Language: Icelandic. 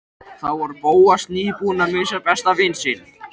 Þá var Bóas nýbúinn að missa besta vin sinn.